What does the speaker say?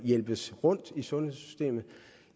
hjælpes rundt i sundhedssystemet